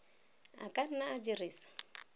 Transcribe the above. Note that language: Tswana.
a ka nna a dirisa